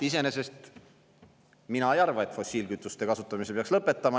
Iseenesest mina ei arva, et fossiilkütuste kasutamise peaks lõpetama.